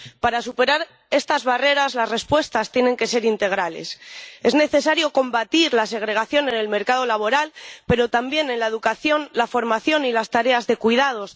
Para superar estas barreras, las respuestas tienen que ser integrales. Es necesario combatir la segregación en el mercado laboral, pero también en la educación, la formación y las tareas de cuidados.